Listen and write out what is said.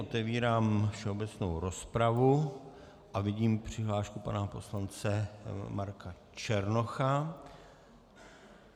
Otevírám všeobecnou rozpravu a vidím přihlášku pana poslance Marka Černocha.